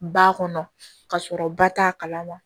Ba kɔnɔ ka sɔrɔ ba t'a kalama